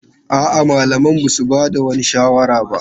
A'a, malaman ba su ba da wani shawara ba.